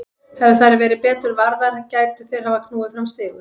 Hefðu þær verið betur varðar gætu þeir hafa knúið fram sigur.